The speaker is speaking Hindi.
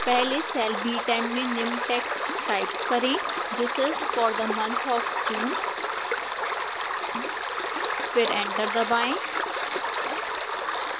पहले cell b10 में निम्न text type करें this is for the month of june फिर enter दबाएं